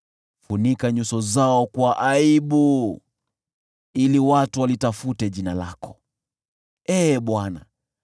Funika nyuso zao kwa aibu ili watu walitafute jina lako, Ee Bwana .